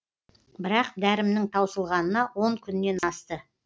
бірақ дәрімнің таусылғанына он күннен асты